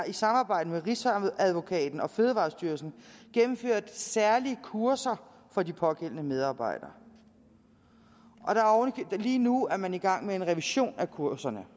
i samarbejde med rigsadvokaten og fødevarestyrelsen gennemført særlige kurser for de pågældende medarbejdere og lige nu er man i gang med en revision af kurserne